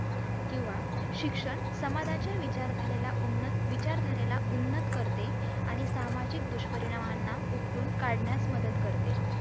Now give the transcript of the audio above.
किंवा शिक्षण समाज्याच्या विचार धारेला उन्नत विचार धारेला उन्नत करते आणि सामाजिक दुष्परिणामाना उपटून काढण्यास मदत करते